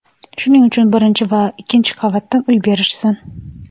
Shuning uchun birinchi yo ikkinchi qavatdan uy berishsin.